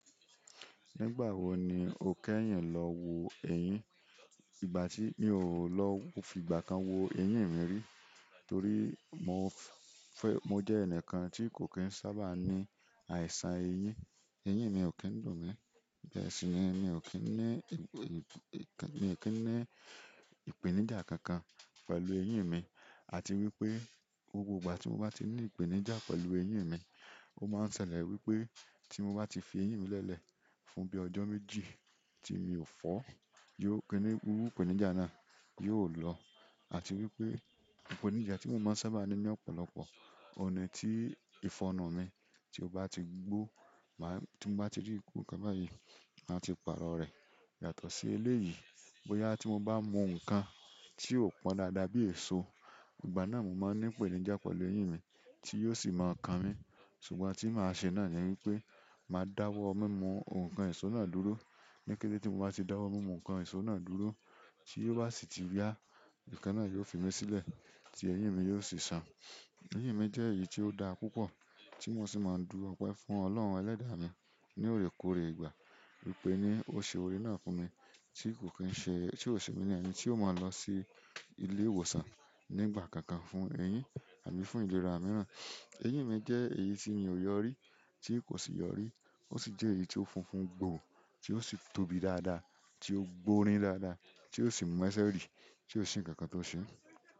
Nígbà wo ni o kẹ́yìn lọ wo eyin? Ìgbà ti mi o lo fi ìgbà kan lo wo eyin mi ri, torí, mo je enikan ti ko ki n sábà ni àìsàn eyin. Eyìn mi ò kí ń dùn mí. Bẹ́ẹ̀ si ni, mi ò kí ń ní ìpèníjà kankan pẹ̀lú eyín mi àti wípé gbogbo ìgbà tí mo bá ti ní ìpèníjà pẹ̀lú eyín mi, ó máa ń ṣẹlẹ̀ wípé tí mo bá ti fi eyín mi lele fún bíi ọjọ́ méjì tí mi ò fọ́, gbogbo ìpèníjà náà yóò lọ àti wípé ìpèníjà tí mo máa ń sábà ní ní ọ̀pọ̀lọpọ̀ ọ̀nà ni tí ìfọnu mi tí ó bá ti gbó, tí mo bá ti rí ikú kán na yi, máa ti pàrọ̀ rẹ̀. Yàtọ̀ sí eléyìí bóyá tí mo bá mu ǹkan tí ò pọn dáadáa bí èso, ìgbà náà mo máa ń ní ìpèníjà pẹ̀lú eyín mi tí yóò sì máa kan mí. Ṣùgbọ́n ihun tí màá ṣe náà ni wípé màá dáwọ́ mímú ǹkan èso náà dúró. Ní kété tí mo bá ti dáwọ́ mímú ǹkan èso náà dúró tí ó bá sì ti ya á, nkan na yóò fi mí sílẹ̀ tí eyín mi yóò sì san. Eyín mi jẹ́ èyí tí ó da púpọ̀ tí mo sì máa ń du ọ̀pẹ fún Ọlọ́run ẹlẹ́dàá ní orekòore ìgbà wípé ní ó ṣe òòre náà fún mi tí kò ṣe, tí ò ṣe mí ní ẹ̀yin tí ó máa lọ sí ilé ìwòsàn nígbà kankan fún eyín àbí fún ìlera mìíràn. Eyin mi je èyí ti mi o yo ri, ti ko si yo ri ó sì jẹ́ èyí tí ó funfun gbòò, tí ó sì tóbi dáadáa, tí ó gbórín dáadáa, tí ò sì mú ẹsẹ̀ rí, tí ò sì ń kankan tó ṣe.